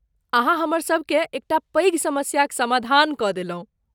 अहाँ हमरसभकेँ एकटा पैघ समस्याक समाधान कऽ देलहुँ।